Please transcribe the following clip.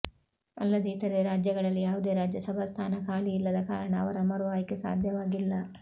ಅಲ್ಲದೆ ಇತರೆ ರಾಜ್ಯಗಳಲ್ಲಿ ಯಾವುದೇ ರಾಜ್ಯಸಭಾ ಸ್ಥಾನ ಖಾಲಿ ಇಲ್ಲದ ಕಾರಣ ಅವರ ಮರು ಆಯ್ಕೆ ಸಾಧ್ಯವಾಗಿಲ್ಲ